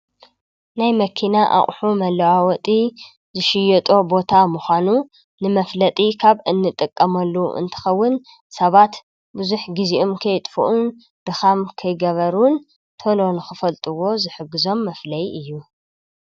ናይ መኪና ኣቁሑ መለዋወጢ ዝሽየጦ ቦታ ምካኑ ንመፍለጢ ካብ እንጥቀመሉ እንትከውን ሰባት ቡዙሕ ግዚኣም ከይጥፉኡን ድካም ከይገበሩን ተሎ ንክፈልጥዎ ዝሕግዞም መፍለይ እዩ::